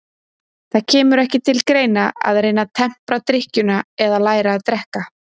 Það kemur ekki til greina að reyna að tempra drykkjuna eða læra að drekka.